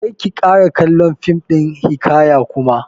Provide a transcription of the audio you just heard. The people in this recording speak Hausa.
Kar ki ƙara kallon fim ɗin hiƙaya kuma!